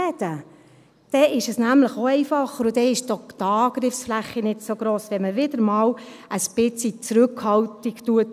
Dann ist es nämlich auch einfacher, und dann ist auch die Angriffsfläche nicht so gross, wenn man wieder einmal ein bisschen Zurückhaltung übt.